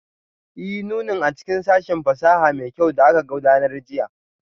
Ee, nunin a cikin sashin fasaha mai kyau da aka gudanar jiya